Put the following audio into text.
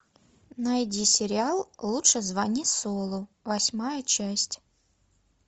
найди сериал лучше звони солу восьмая часть